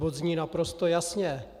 Bod zní naprosto jasně.